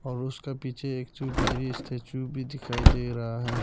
और उसके पीछे एक स्टेच्यू भी दिखाई दे रहा है।